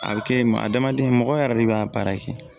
A bɛ kɛ maa adamaden mɔgɔ yɛrɛ de b'a baara kɛ